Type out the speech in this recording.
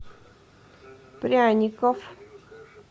пряников